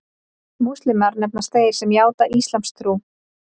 Múslímar nefnast þeir sem játa íslamstrú.